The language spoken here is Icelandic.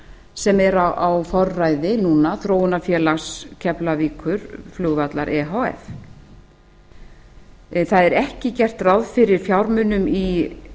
sem er á forræði núna þróunarfélags keflavíkurflugvallar e h f það er ekki gert ráð fyrir fjármunum